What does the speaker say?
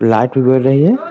Light है ।